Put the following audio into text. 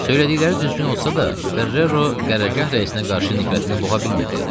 Söylədikləri düzgün olsa da, Ferrero qərargah rəisinə qarşı nifrətini boğa bilmirdi.